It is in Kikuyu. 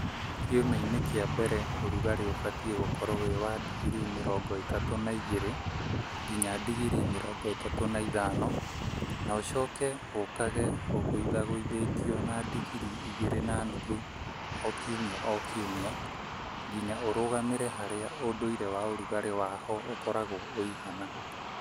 Kiumia-inĩ kĩa mbere ũrugarĩ ũbatiĩ gũkorwo wĩ wa ndingiri mĩrongo ĩtatũ na igĩrĩ nginya ndingiri mĩrongo ĩtatũ na ithano na ũcoke ũkage ũgũithagũithĩtio na ndingiri igĩrĩ na nuthu o kiumia o kiumia nginya ũrugamĩre harĩa ũndũire wa ũrugarĩ wa ho ũkoragwo ũigana.